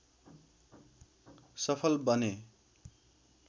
सफल बने